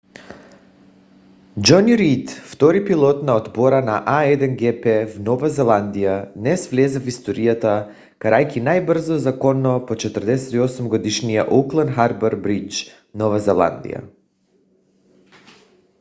джони рийд втори пилот на отбора на a1gp в нова зеландия днес влезе в историята карайки най-бързо законно по 48 - годишния оукланд харбър бридж нова зеландия